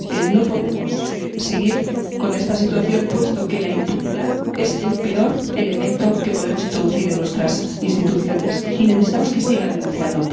No podemos seguir con esta situación, puesto que la impunidad es el peor elemento que podemos introducir en nuestras instituciones y necesitamos que sigan denunciando.